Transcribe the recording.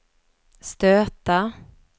stöta